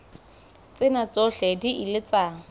tsena tsohle di ile tsa